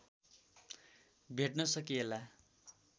भेट्न सकिएला